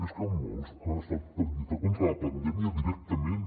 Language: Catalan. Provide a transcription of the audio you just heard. és que molts han estat per lluitar contra la pandèmia directament